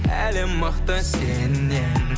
әлем мықты сеннен